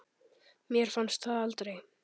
Mér fannst það aldrei!